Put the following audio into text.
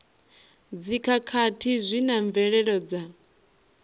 dzikhakhathi zwi na mvelelo dza